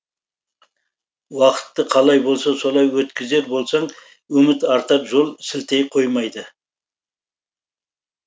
уақытты қалай болса солай өткізер болсаң үміт артар жол сілтей қоймайды